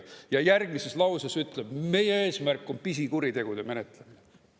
" Ja järgmises lauses ütles: "Meie eesmärk on pisikuritegude menetlemine.